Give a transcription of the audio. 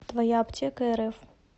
твояаптекарф